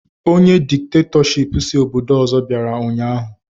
Ọnye dikitatọshipụ si obodo ọzọ bịara ụnyaahụ